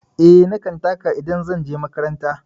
Eh, na kan taka idan zan je makaranta.